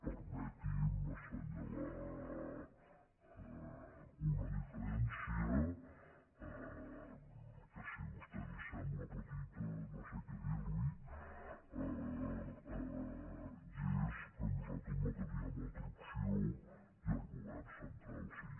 permeti’m assenyalar una diferència que si a vostè li sembla petita no sé què dir li i és que nosaltres no teníem altra opció i el govern central sí